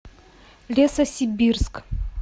лесосибирск